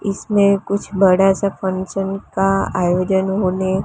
इसमें कुछ बड़ा सा फंक्शन का आयोजन होने--